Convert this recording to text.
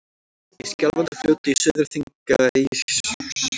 Í Skjálfandafljóti í Suður-Þingeyjarsýslu.